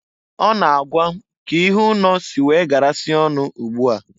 Ọ na-agwa k'ihe ụnọ si wee garasịa ọnụ ụgbụ a.